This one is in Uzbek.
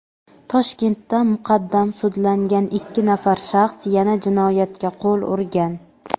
Toshkentda muqaddam sudlangan ikki nafar shaxs yana jinoyatga qo‘l urgan.